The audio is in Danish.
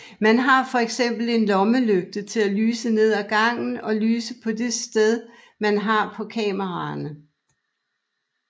Man har fx en lommelygte til at lyse ned af gangen og lyse på det sted man er på kameraerne